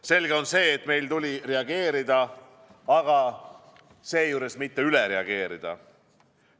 Selge on see, et meil tuli reageerida, aga seejuures mitte üle reageerida.